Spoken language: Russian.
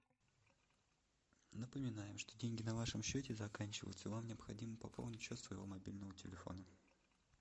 напоминаем что деньги на вашем счете заканчиваются вам необходимо пополнить счет своего мобильного телефона